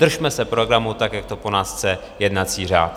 Držme se programu tak, jak to po nás chce jednací řád.